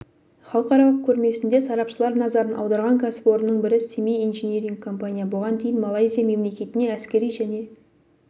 халықаралық көрмесінде сарапшылар назарын аударған кәсіпорынның бірі семей инжиниринг компания бұған дейін малайзия мемлекетіне әскери және